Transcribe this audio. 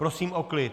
Prosím o klid!